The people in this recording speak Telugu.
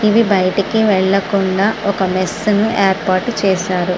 ఇవి బయటికి వెళ్లకుండా ఒక మేష్ ను ఏర్పాటు చేశారు.